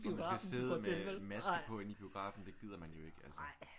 Og man skal sidde med maske på inde i biografen. Det gider man jo ikke altså